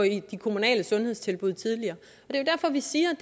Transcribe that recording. i de kommunale sundhedstilbud tidligere det er derfor vi siger